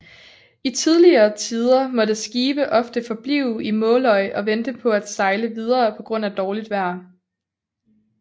I tidligere tider måtte skibe ofte forblive i Måløy og vente på at sejle videre på grund af dårligt vejr